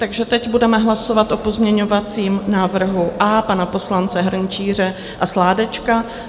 Takže teď budeme hlasovat o pozměňovacím návrhu A pana poslance Hrnčíře a Sládečka.